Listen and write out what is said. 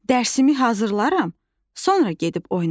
Dərsimi hazırlaram, sonra gedib oynaram.